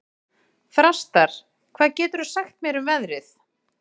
Þrastar, hvað geturðu sagt mér um veðrið?